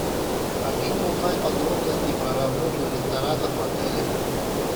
хочу узнать подробности про работу ресторанов в отеле